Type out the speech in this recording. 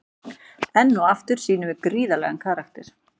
Enn og aftur sýnum við gríðarlegan karakter.